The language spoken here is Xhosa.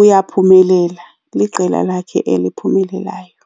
uyaphumelela, liqela lakhe eliphumelelayo.